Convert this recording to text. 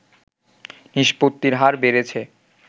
নিষ্পত্তির হার বেড়েছে